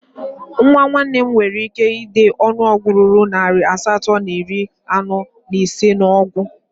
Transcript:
Nwa nwanne m nwere ike dee ọnụọgụ ruru narị asatọ na iri anọ na ise n'okwu